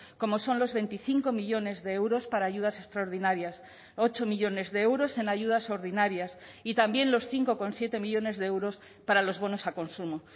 como son los veinticinco millónes de euros para ayudas extraordinarias ocho millónes de euros en ayudas ordinarias y también los cinco coma siete millónes de euros para los bonos a consumo